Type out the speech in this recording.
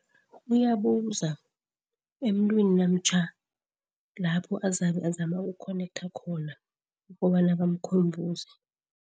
Uyabuza emntwini namtjha lapho azabe azama ukukhonektha khona ukobana bamkhumbuze.